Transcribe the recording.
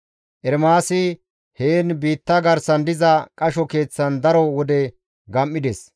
Ermaasi heen biitta garsan diza qasho keeththan daro wode gam7ides.